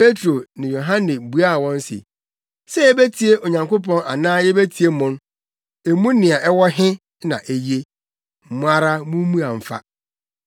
Petro ne Yohane buaa wɔn se, “Sɛ yebetie Onyankopɔn anaa yebetie mo no, emu nea ɛwɔ he na eye? Mo ara mummua mfa.